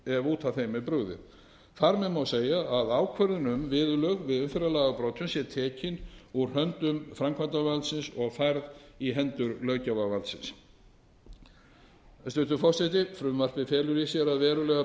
ef út af þeim er brugðið þar með má segja að ákvörðun um viðurlög við umferðarlagabrotum sé tekin úr höndum framkvæmdarvaldsins og færð í hendur löggjafarvaldsins hæstvirtur forseti frumvarpið felur í sér að verulegar